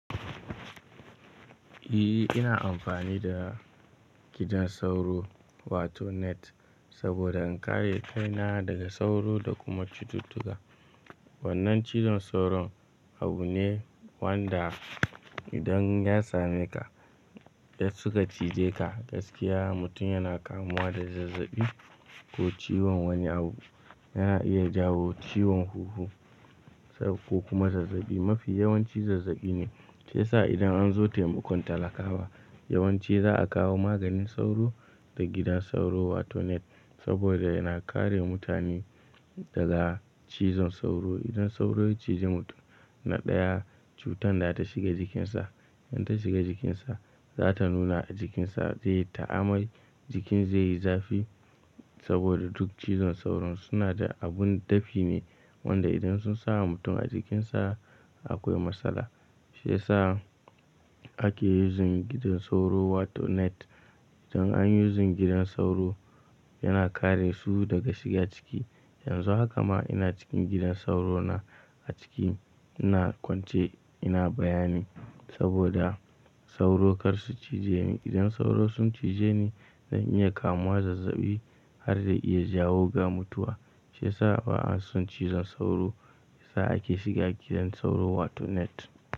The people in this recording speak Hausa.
Ehh ina amfani da gidan sauro wato net saboda in kare kaina daga sauro da kuma cututtuka. Wannan cizon sauro abu ne wanda idan ya sameka, ya suka cije ka gaskiya mutum yana kamuwa da zazzabi ko ciwon wani abu. Yana iya jawo ciwon huhu ko kuma zazzabi. Mafi yawanci zazzabi ne. Shi yasa idan an zo taimakon talakawa yawanci za a kawo maganin sauro da gidan sauro wato net saboda yana kare mutane daga cizon sauro. Idan sauro ya cije mutum na ɗaya cutan da ta shiga jikinsa, in ta shiga jikinsa za ta nuna a jikinsa zai yi ta amai, jikin zai yi zafi saboda duk ciwon sauro suna da abun dafi ne wanda idan sun samu mutum a jikinsa akwai matsala. Shi yasa ake using gidan sauro wato net. Idan an yi using gidan sauro yana kare su daga shiga ciki. Yanzu haka ma ina cikin gidan sauro na a ciki ina kwance ina bayani saboda sauro kar su cije ni. Idan sauro sun cije ni zan iya kamuwa zazzabi har da iya jawo ga mutuwa. Shi yasa ba'a son cizon sauro. Sa ake shiga gidan sauro wato net.